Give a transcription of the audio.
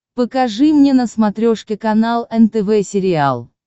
покажи мне на смотрешке канал нтв сериал